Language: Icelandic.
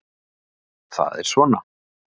Það er svona.